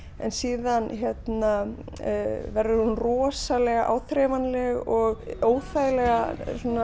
en svo verður hún rosalega áþreifanleg og óþægilega